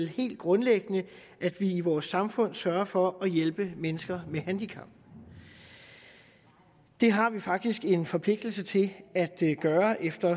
helt grundlæggende at vi i vores samfund sørger for at hjælpe mennesker med handicap det har vi faktisk en forpligtelse til at gøre efter